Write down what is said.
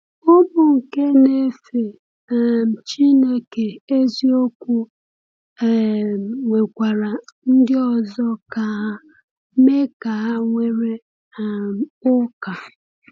Ụmụ nke na-efe um Chineke eziokwu um nwekwara ndị ọzọ ka ha mee ka ha were um ụka.